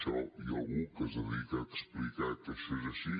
això hi ha algú que es dedica a explicar que això és així